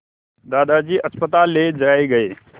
दादाजी अस्पताल ले जाए गए